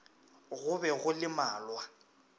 go be go le malwa